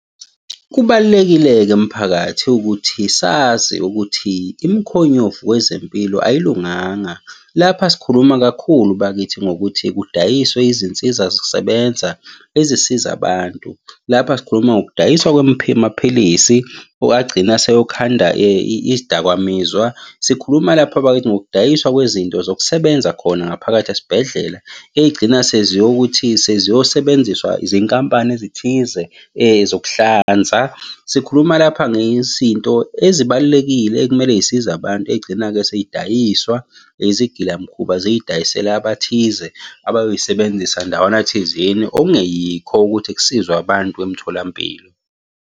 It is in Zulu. Kubalulekile-ke mphakathi ukuthi sazi ukuthi imikhonyovu wezempilo ayilunganga. Lapha sikhuluma kakhulu bakithi ngokuthi kudayiswe izinsiza zisebenza ezisiza abantu. Lapha sikhuluma ngokudayiswa amaphilisi agcina aseyokhanda izidakamizwa. Sikhuluma lapha bakithi ngokudayiswa kwezinto zokusebenza khona ngaphakathi esibhedlela. Ey'gcina seziyokuthi seziyosebenziswa zinkampani ezithize zokuhlanza. Sikhuluma lapha ngezinto ezibalulekile ekumele iy'size abantu, ey'gcina-ke sey'dayiswa izigilamkhuba ziy'dayisela abathize abayoy'sebenzisa ndawana thizeni okungeyikho ukuthi kusizwe abantu emtholampilo.